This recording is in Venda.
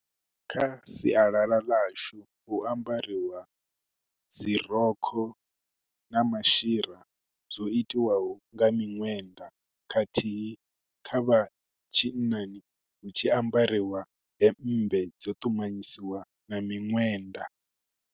Kha sialala ḽashu hu ambariwa dzi rokho na mashira zwo itiwaho nga minwenda. Khathihi kha vha tshinnani hu tshi ambariwa hemmbe, dzo ṱumanyisiwa na miṅwenda.